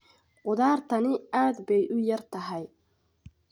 Khudaartani aad bay u yar tahay.